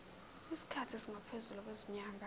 isikhathi esingaphezulu kwezinyanga